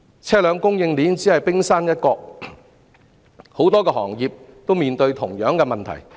車輛供應鏈只是冰山一角，很多行業均面對同樣問題。